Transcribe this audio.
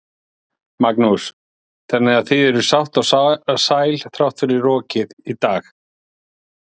Magnús: Þannig að þið eruð sátt og sæl þrátt fyrir rokið í dag?